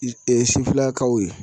sifinnakaw ye